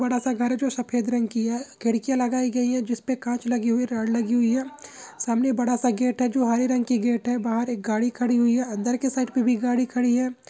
छोटा सा घर है जो सफेद रंग की हैखिड़कीया लगाई गई है जिसपे काच लगी हुई है रॉड लगी हुई है सामने एक बड़ा सा गेट हैबहार एक गाड़ी खड़ी हैअंदर की तरफ भी खड़ी है।